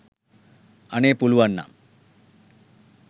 අනේ පුළුවන්නම්